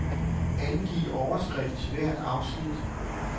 Angiv overskrift til hvert afsnit.